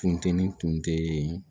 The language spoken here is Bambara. Funtenin kun te yen